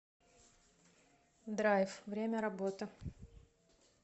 драйв время работы